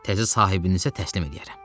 Təzə sahibinizə təslim eləyərəm.